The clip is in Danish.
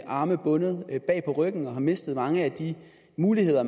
arme bundet bag på ryggen og mistet mange af de muligheder